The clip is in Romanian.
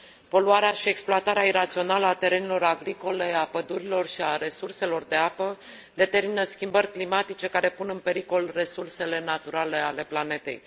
Poluarea și exploatarea irațională a terenurilor agricole, a pădurilor și a resurselor de apă determină schimbări climatice care pun în pericol resursele naturale ale planetei.